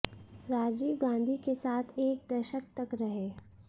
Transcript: राजीव गांधी के साथ एक दशक तक रहे